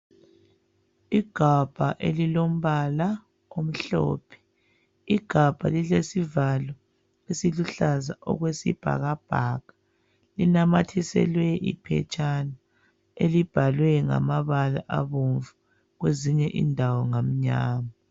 Igabha elilombala omhlophe. Igabha lilesivalo esiluhlaza okwesibhakabhaka. Linamathiselwe iphetshana, elibhalwe ngamabala abomvu. Kwezinye indawo ngamnyama.